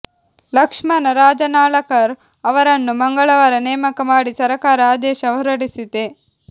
ಲಕ್ಷ್ಮಣ ರಾಜನಾಳಕರ್ ಅವರನ್ನು ಮಂಗಳವಾರ ನೇಮಕ ಮಾಡಿ ಸರಕಾರ ಆದೇಶ ಹೊರಡಿಸಿದೆ